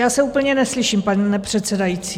Já se úplně neslyším, pane předsedající.